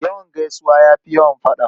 Yawan gaisuwa ya fi yawan faɗa.